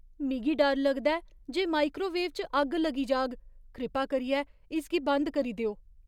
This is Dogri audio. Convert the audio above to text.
मिगी डर लगदा ऐ जे माइक्रोवेव च अग्ग लगी जाह्ग। कृपा करियै इसगी बंद करी देओ।